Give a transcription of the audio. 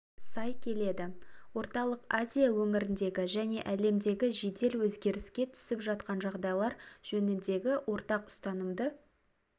сай келеді орталық азия өңіріндегі және әлемдегі жедел өзгеріске түсіп жатқан жағдайлар жөніндегі ортақ ұстанымды